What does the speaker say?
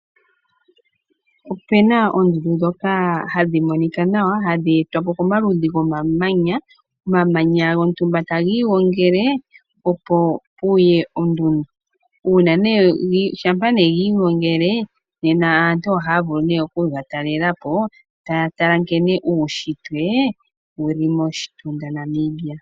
Opu na oondundu ndhoka hadhi monika nawa, hadhi etwa po komaludhi gomamanya. Omamanya gontumba taga igongele, opo pu ye ondundu. Shampa gi igongele aantu ohaya vulu oku ke ga talelela po taya tala nkene uunshitwe wu li moshitunda Namibia.